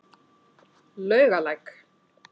Laugalæk